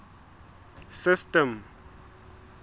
system